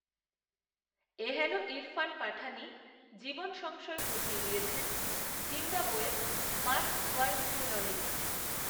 এ হেন ইরফান পাঠানই, জীবনসংশয় ঘটিয়ে দিয়েছেন, জিম্বাবোয়ের মার্ক, ভারমিউলনের